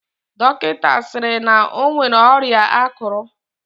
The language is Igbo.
Dọkịnta sịrị na o nwere ọrịa akụrụ.